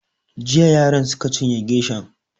Jiya yaran suka cinye geshan